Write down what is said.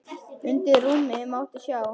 Undir rúmi mátti sjá.